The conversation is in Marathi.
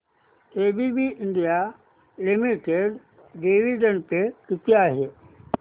ABB India limited dividend pay किती आहे